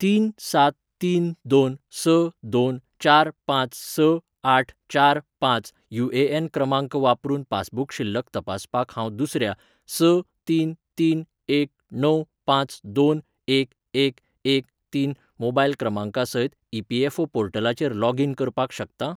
तीन सात तीन दोन स दोन चार पांच स आठ चार पांच युएएन क्रमांक वापरून पासबुक शिल्लक तपासपाक हांव दुसऱ्या स तीन तीन एक णव पांच दोन एक एक एक तीन मोबायल क्रमांका सयत ईपीएफओ पोर्टलाचेर लॉगीन करपाक शकता ?